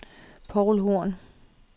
Poul Horn